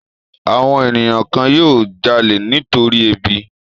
Àwọn ènìyàn kan yóò jalè nítorí ebi.